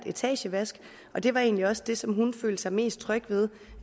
etagevask og det var egentlig også det som hun følte sig mest tryg ved